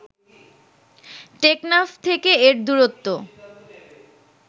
টেকনাফ থেকে এর দূরত্ব